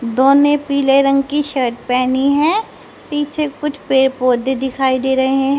दो ने पीले रंग की शर्ट पहनी है पीछे कुछ पेड़ पौधे दिखाई दे रहे--